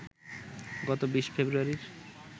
গত ২০ ফেব্রুয়ারি